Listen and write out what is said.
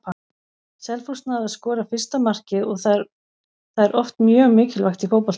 Selfoss náði að skora fyrsta markið og það er oft mjög mikilvægt í fótbolta.